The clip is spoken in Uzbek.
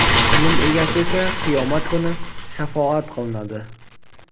ilm egasi esa qiyomat kuni shafoat qilinadi;.